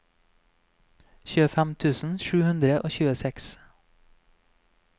tjuefem tusen sju hundre og tjueseks